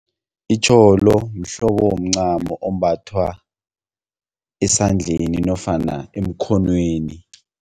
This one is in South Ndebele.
Itjholo mhlobo womncamo ombathwa esandleni nofana emkhonweni.